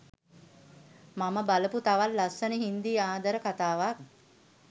මම බලපු තවත් ලස්සන හිංදි ආදර කතාවක්